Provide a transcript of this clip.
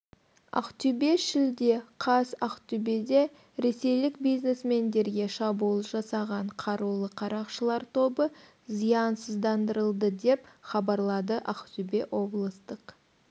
ақтөбе шілде қаз ақтөбеде ресейлік бизнесмендерге шабуыл жасаған қарулы қарақшылар тобы зиянсыздандырылды деп хабарлады ақтөбе облыстық